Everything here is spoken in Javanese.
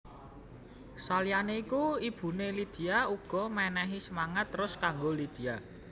Saliyané iku ibuné Lydia uga menehi semangat terus kanggo Lydia